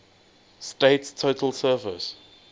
state's total surface